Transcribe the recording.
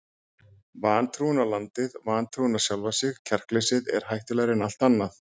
Vantrúin á landið, vantrúin á sjálfan sig, kjarkleysið er hættulegra en allt annað.